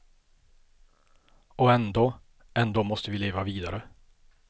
Och ändå, ändå måste vi leva vidare.